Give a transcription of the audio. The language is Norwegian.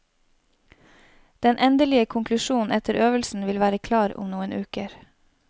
Den endelige konklusjonen etter øvelsen vil være klar om noen uker.